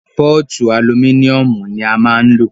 Pọ́ọ̀tu alumíníùmù ní a máà ń lò.